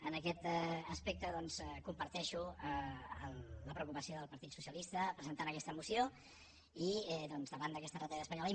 en aquest aspecte doncs comparteixo la preocupació del partit socialista presentant aquesta moció i doncs davant d’aquesta retallada espanyola